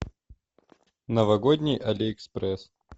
новогодний али экспресс